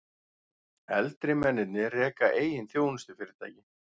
Eldri mennirnir reka eigin þjónustufyrirtæki